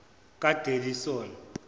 kadelisoni